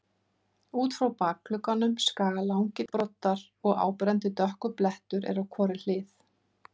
Út frá bakuggunum skaga langir broddar og áberandi dökkur blettur er á hvorri hlið.